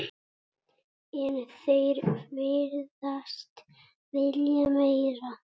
En þeir virðast vilja meira.